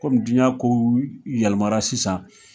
Kɔmi diɲɛ kow yɛlɛma sisan